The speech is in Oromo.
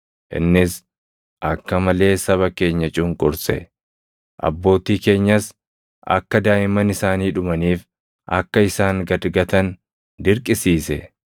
Innis akka malee saba keenya cunqurse; abbootii keenyas akka daaʼimman isaanii dhumaniif akka isaan gad gatan dirqisiise.